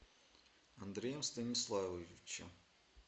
андреем станиславовичем